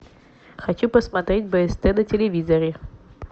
хочу посмотреть бст на телевизоре